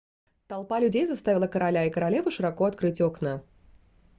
толпа людей заставила короля и королеву широко открыть окна